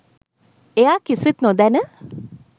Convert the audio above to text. එයා කිසිත් නොදැන